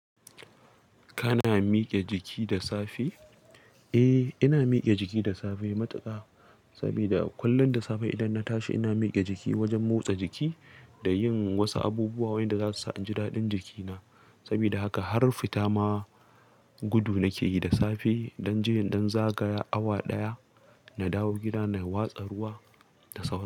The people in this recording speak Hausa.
Kana mike jiki da safe? Eh, ina mike jiki da safe matuka. Saboda kullum da safe idan na tashi ina mike jiki wajen motsa jiki da yin wasu abubuwa wayanda zasu sa inji daɗin jikina. Saboda haka har fita ma gudu nake yi da safe, in ɗan je in ɗan zagaya awa ɗaya na dawo gida na watsa ruwa da sauri.